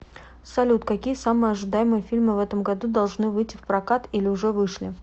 салют какие самые ожидаемые фильмы в этом году должны выити в прокат или уже вышли